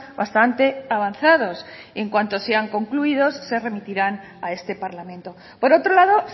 bastante avanzados en cuanto sean concluidos se remitirán a este parlamento por otro lado